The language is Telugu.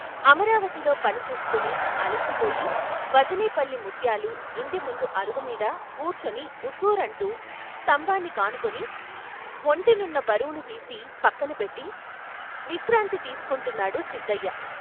అమరావతిలో పని చూసుకుని అలసిపోయి వజనేపల్లి ముత్యాలు ఇంటి ముందు అరుగు మీద కూర్చుని ఉస్సురంటూ స్తంభాని కానుకుని ఒంటి నున్న బరువు తీసి పక్కన పెట్టి విశ్రాంతి తీసుకుంటున్నాడు సిద్ధయ్య.